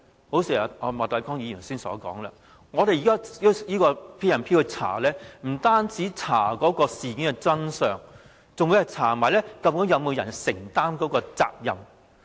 一如莫乃光議員所說，我們用《權力及特權條例》去調查，不單是調查事件的真相，還會調查究竟有沒有人承擔責任。